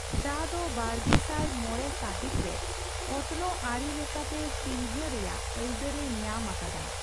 ᱪᱟ ᱫᱚ ᱵᱟᱨᱜᱮᱥᱟᱭ ᱢᱚᱲᱮ ᱥᱟᱹᱦᱤᱛ ᱨᱮ ᱚᱛᱱᱚᱜ ᱟᱹᱨᱤ ᱞᱮᱠᱟᱛᱮ ᱪᱤᱱᱦᱟᱹ ᱨᱮᱭᱟᱜ ᱟᱹᱭᱫᱟᱹᱨ ᱮ ᱧᱟᱢ ᱟᱠᱟᱫᱟ ᱾